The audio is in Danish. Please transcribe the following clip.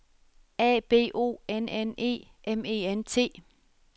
A B O N N E M E N T